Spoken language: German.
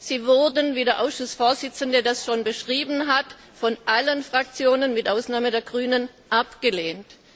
Sie wurden, wie der Ausschussvorsitzende das schon beschrieben hat, von allen Fraktionen mit Ausnahme der Verts ALE Fraktion abgelehnt.